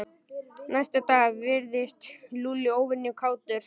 Næsta dag virtist Lúlli óvenju kátur.